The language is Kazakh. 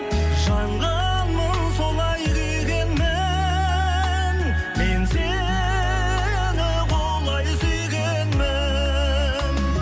жанғанмын солай күйгенмін мен сені құлай сүйгенмін